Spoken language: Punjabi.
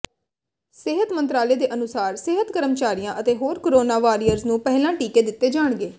ਸਿਹਤ ਮੰਤਰਾਲੇ ਦੇ ਅਨੁਸਾਰ ਸਿਹਤ ਕਰਮਚਾਰੀਆਂ ਅਤੇ ਹੋਰ ਕੋਰੋਨਾ ਵਾਰੀਅਰਜ਼ ਨੂੰ ਪਹਿਲਾਂ ਟੀਕੇ ਦਿੱਤੇ ਜਾਣਗੇ